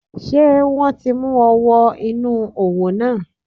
Sé wọ́n ti mú ọ wọ inú òwò náà?